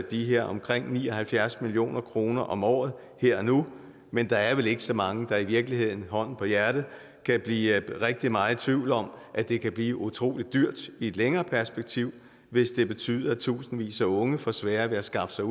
de her omkring ni og halvfjerds million kroner om året her og nu men der er vel ikke så mange der i virkeligheden hånden på hjertet kan blive rigtig meget i tvivl om at det kan blive utrolig dyrt i et længere perspektiv hvis det betyder at tusindvis af unge får sværere ved at skaffe sig